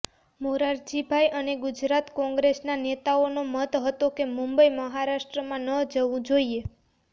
મોરારજીભાઈ અને ગુજરાત કોંગ્રેસના નેતાઓનો મત હતો કે મુંબઈ મહારાષ્ટ્રમાં ન જવું જોઈએ